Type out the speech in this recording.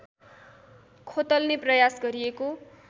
खोतल्ने प्रयास गरिएको